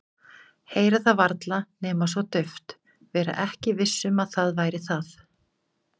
Heyra það varla nema svo dauft, vera ekki viss um að það væri það.